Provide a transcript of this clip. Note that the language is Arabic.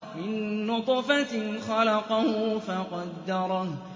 مِن نُّطْفَةٍ خَلَقَهُ فَقَدَّرَهُ